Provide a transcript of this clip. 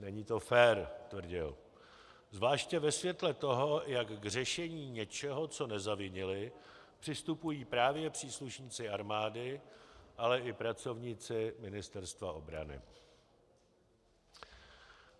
Není to fér, tvrdil, zvlášť ve světle toho, jak k řešení něčeho, co nezavinili, přistupují právě příslušníci armády, ale i pracovníci Ministerstva obrany.